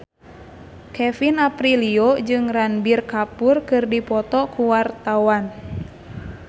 Kevin Aprilio jeung Ranbir Kapoor keur dipoto ku wartawan